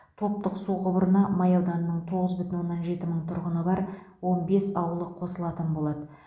топтық су құбырына май ауданының тоғыз бүтін оннан жеті мың тұрғыны бар он бес ауылы қосылатын болады